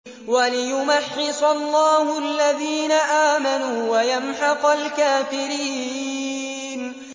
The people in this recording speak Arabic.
وَلِيُمَحِّصَ اللَّهُ الَّذِينَ آمَنُوا وَيَمْحَقَ الْكَافِرِينَ